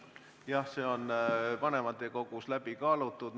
Jah, see on vanematekogus läbi kaalutud.